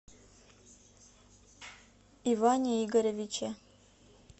иване игоревиче